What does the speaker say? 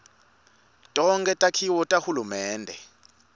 tonkhe takhiwo tahulumende